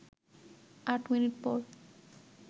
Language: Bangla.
৮ মিনিট পর